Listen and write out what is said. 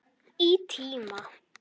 Í tíma.